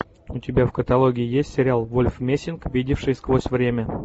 у тебя в каталоге есть сериал вольф мессинг видевший сквозь время